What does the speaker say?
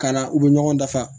Ka na u bɛ ɲɔgɔn dafa